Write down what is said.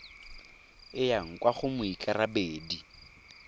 e yang kwa go moikarabedi